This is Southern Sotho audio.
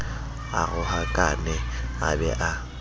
a rohakane a be a